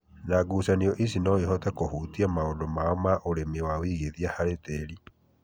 na ngucanio ici no cihote kũhutia maũndũ mao ma ũrĩmi na wĩigithia harĩ tĩri.